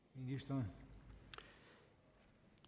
får